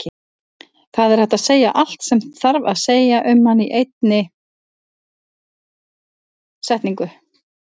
Það er hægt að segja allt sem þarf að segja um hann í einni setningu.